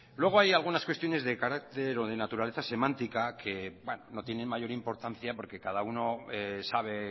luego hay algunas cuestiones de carácter o de naturaleza semántica que no tienen mayor importancia porque cada uno sabe